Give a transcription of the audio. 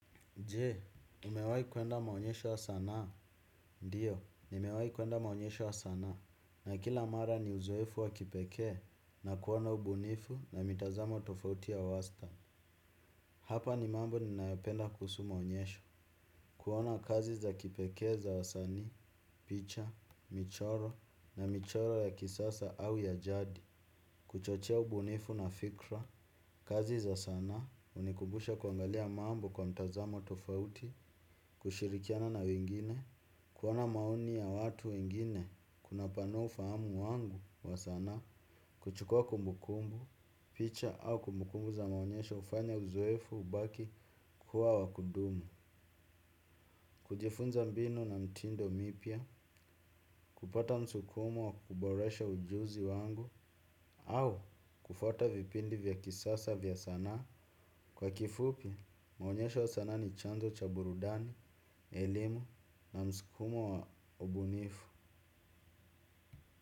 Jee, umewahi kuenda maonyesho ya sanaa, ndiyo, nimewahi kuenda maonyesho ya sanaa, na kila mara ni uzoefu wa kipekee na kuona ubunifu na mitazamo tofauti ya wasta. Hapa ni mambo ni nayopenda kuhusu maonyesho. Kuona kazi za kipekee za wasani, picha, michoro na michoro ya kisasa au ya jadi. Kuchochia ubunifu na fikra. Kazi za sanaa unikumbusha kuangalia mambo kwa mtazamo tofauti. Kushirikiana na wengine, kuona maoni ya watu wengine, kuna panua ufahamu wangu, wa sanaa. Kuchukua kumbukumbu, picha au kumbukumbu za maonyesho ufanya uzoefu ubaki. Kuwa wakudumu, kujifunza mbinu na mitindo mipya, kupata msukumo wa kuboresha ujuzi wangu au kufuata vipindi vya kisasa vya sanaa, kwa kifupi mwonyesho wa sanaa ni chanzo cha burudani, elimu na msukumo wa ubunifu.